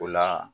O la